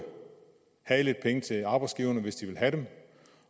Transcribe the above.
havde lidt penge til arbejdsgiverne hvis de ville have dem